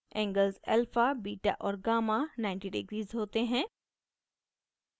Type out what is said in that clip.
angles alpha beta और gamma 90 degrees होते हैं